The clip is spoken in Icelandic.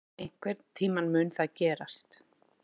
Einhvern tíma mun það gerast.